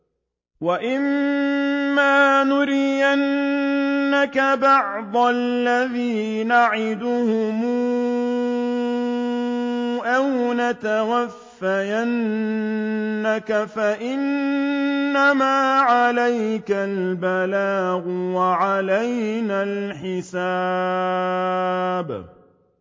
وَإِن مَّا نُرِيَنَّكَ بَعْضَ الَّذِي نَعِدُهُمْ أَوْ نَتَوَفَّيَنَّكَ فَإِنَّمَا عَلَيْكَ الْبَلَاغُ وَعَلَيْنَا الْحِسَابُ